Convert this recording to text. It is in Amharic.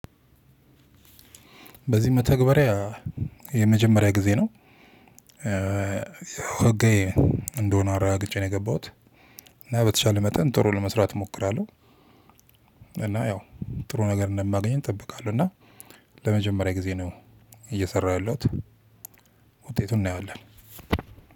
በዚህ መተግበሪያ የመጀመሪያ ጊዜ ነው። ህጋዊ እንደሆነ አረጋግጬ ነው የገባሁት እና በተቻለ መጠን ጥሩ ለመስራት እሞክራለሁ። እና ያው ጥሩ ነገር እንደማገኝ እጠብቃለሁ። እና ለመጀመሪያ ጊዜ ነው እየሰራሁ ያለሁት። ውጤቱን እናየዋለን።